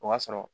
O b'a sɔrɔ